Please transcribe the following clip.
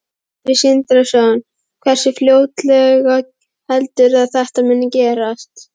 Sindri Sindrason: Hversu fljótlega heldurðu að þetta muni gerast?